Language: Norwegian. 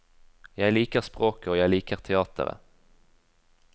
Jeg liker språket og jeg liker teatret.